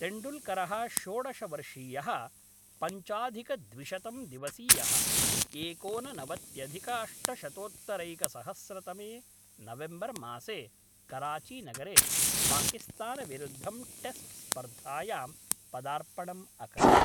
तेण्डुल्करः षोडश वर्षीयः पञ्चाधिकद्विशतं दिवसीयः, एकोननवत्यधिकाष्टशतोत्तरैकसहस्रतमे नवेम्बर्मासे कराचीनगरे पाकिस्तानविरुद्धं टेस्ट्स्पर्धायां पदार्पणम् अकरोत्।